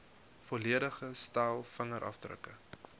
volledige stel vingerafdrukke